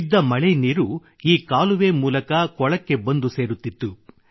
ಬಿದ್ದ ಮಳೆ ನೀರು ಈ ಕಾಲುವೆ ಮೂಲಕ ಕೊಳಕ್ಕೆ ಬಂದು ಸೇರುತ್ತಿತ್ತು